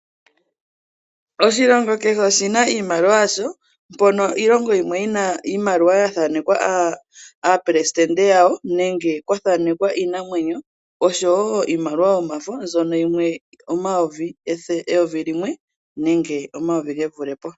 Oshilongo kehe oshi na iimaliwa yasho, mpono iilongo yimwe yi na iimaliwa ya thanekwa aapelesitende yawo nenge kwa thanekwa iinamwenyo osho wo iimaliwa yomafo mbyono yimwe eyovi limwe nenge omayovi ge vule po.